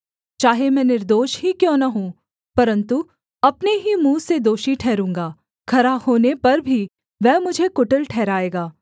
चाहे मैं निर्दोष ही क्यों न हूँ परन्तु अपने ही मुँह से दोषी ठहरूँगा खरा होने पर भी वह मुझे कुटिल ठहराएगा